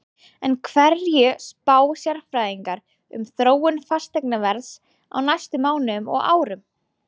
En hverju spá sérfræðingarnir um þróun fasteignaverðs á næstu mánuðum og árum?